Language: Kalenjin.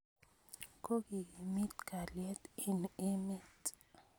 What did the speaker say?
Kokekimit kalyet eng' emet.